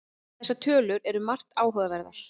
Þessar tölur eru margt áhugaverðar